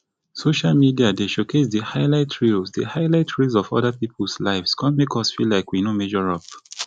social media dey showcase di highlight reels di highlight reels of oda peoples lives come make us feel like we no measure up